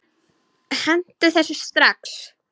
Hentu þessu strax!